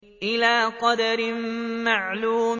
إِلَىٰ قَدَرٍ مَّعْلُومٍ